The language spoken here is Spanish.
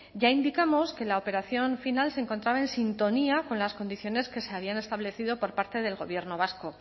ya indicamos que la operación final se encontraba en sintonía con las condiciones que se habían establecido por parte del gobierno vasco